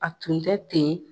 A tun yi la pe.